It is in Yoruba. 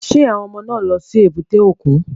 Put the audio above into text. Ṣé àwọn ọmọ náà ń lọ sí èbúté òkun?